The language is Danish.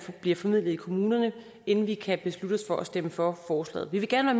bliver formidlet i kommunerne inden vi kan beslutte os for at stemme for forslaget vi vil gerne